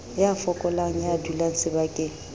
ya fokolang ya dulang sebakeng